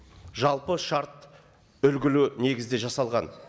жалпы шарт үлгілі негізде жасалған